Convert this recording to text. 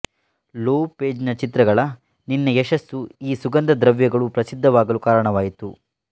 Lopez ನ ಚಿತ್ರಗಳನ್ನಿನ ಯಶಸ್ಸು ಈ ಸುಗಂಧ ದ್ರವ್ಯಗಳು ಪ್ರಸಿದ್ಧವಾಗಲು ಕಾರಣವಾಯಿತು